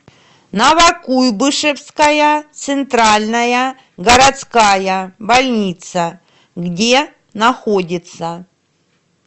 новокуйбышевская центральная городская больница где находится